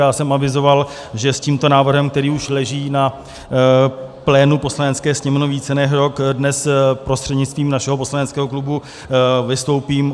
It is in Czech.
Já jsem avizoval, že s tímto návrhem, který už leží na plénu Poslanecké sněmovny více než rok, dnes prostřednictvím našeho poslaneckého klubu vystoupím.